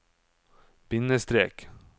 bindestrek